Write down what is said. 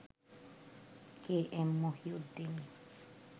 কে M Mohiuddin